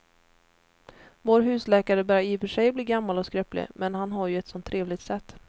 Vår husläkare börjar i och för sig bli gammal och skröplig, men han har ju ett sådant trevligt sätt!